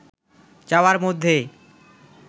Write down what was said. যাওয়ার মধ্যে